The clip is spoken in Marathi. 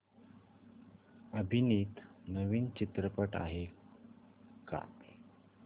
अभिनीत नवीन चित्रपट आहे का